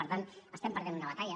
per tant estem perdent una batalla